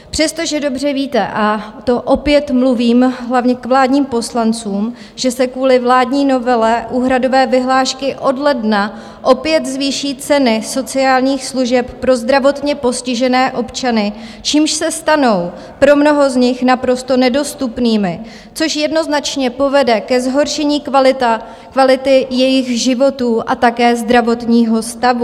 Přestože dobře víte - a to opět mluvím hlavně k vládním poslancům - že se kvůli vládní novele úhradové vyhlášky od ledna opět zvýší ceny sociálních služeb pro zdravotně postižené občany, čímž se stanou pro mnoho z nich naprosto nedostupnými, což jednoznačně povede ke zhoršení kvality jejich životů a také zdravotního stavu.